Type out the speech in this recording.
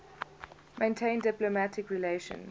maintain diplomatic relations